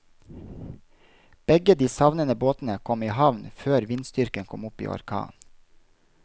Begge de savnede båtene kom i havn før vindstyrken kom opp i orkan.